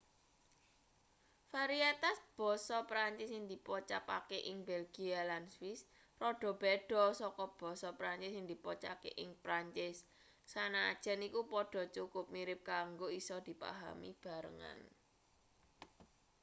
varietas basa perancis sing dipocapake ing belgia lan swiss rada beda saka basa perancis sing dipocaake ing perancis sanajan iku padha cukup mirip kanggo isa dipahami bebarengan